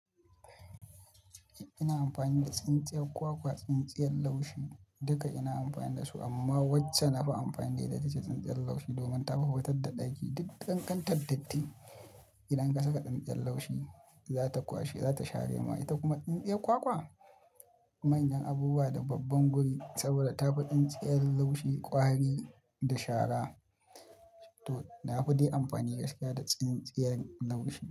Ina amfani da tsintsiyar kwakwa, tsintsiyar laushi duka ina amfani da su amma wacce na fi amfani da ita ce tsintsiyar laushi domin tafi fitar da ɗaki. Duk ƙanƙantar datti idan ka saka tsintsiyar laushi za ta kwashe, za ta share ma ita kuma tsintsiyar kwakwa manyan abubuwa da babban guri saboda ta fi tsintsiyar laushi ƙwari da shara. To, na fiɗe amfani gaskiya da tsintsiyar laushi.